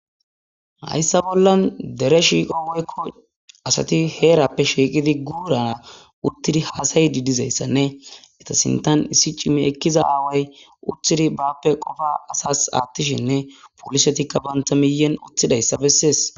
hayssa bollan dere shiiqo weykko asati heerappe shiiqidi guurara uttidi haasayi di dizayssanne eta sintan issi cimi ekkiza aaway uttidi baappe qofa asas aattishinne polisetikka banta miyen utthidayssa bessees